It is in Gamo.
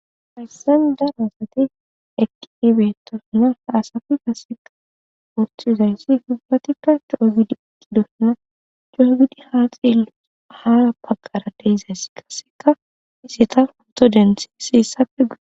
Hayissan dan asate eqqiibetosna haasafi gasseka woothi uzayssi fubbatikka coogidi iqidosna joogidi haaxe haaa paggara deizayss kasseka hiseta honto denseseessappe guy